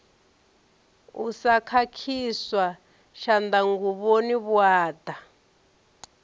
u sa khakhiswa tshanḓanguvhoni vhuaḓa